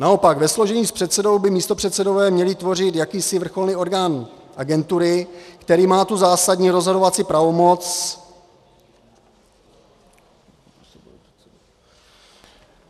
Naopak, ve složení s předsedou by místopředsedové měli tvořit jakýsi vrcholný orgán agentury, který má tu zásadní rozhodovací pravomoc...